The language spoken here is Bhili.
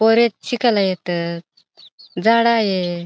पोर शिकला येत झाड़ आहे.